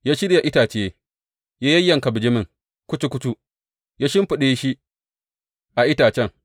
Ya shirya itace, ya yayyanka bijimin kucu kucu, ya shimfiɗa shi a itacen.